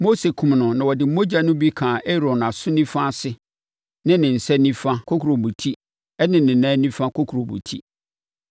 Mose kumm no na ɔde mogya no bi kaa Aaron aso nifa ase ne ne nsa nifa kokurobetie ne ne nan nifa kokurobetie.